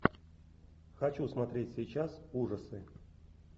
хочу смотреть сейчас ужасы